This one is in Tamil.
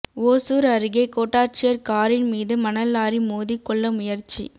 ஓசூர் அருகே கோட்டாட்சியர் காரின் மீது மணல் லாரி மோதி கொல்ல முயற்சி